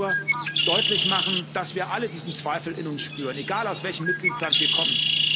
Ich wollte nur deutlich machen, dass wir alle diesen Zweifel in uns spüren, egal aus welchem Mitgliedsstaat wir kommen.